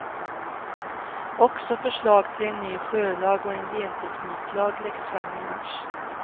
Också förslag till en ny sjölag och en gentekniklag läggs fram i mars.